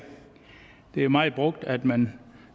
er meget brugt at man